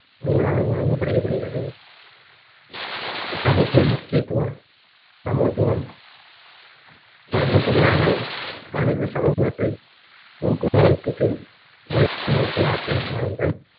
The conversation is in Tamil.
அனைவராக வழங்கப்படிக~ படுகிறது சமத்துவ முக்கியத்துவம் சமத்துவம் பல நூற்றுக்களான மனித சமூகத்தை ஆற்றல் வாய்ந்த